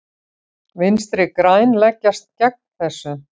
Vinstri græn leggjast gegn þessu.